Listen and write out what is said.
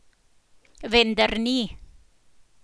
Vendar ni.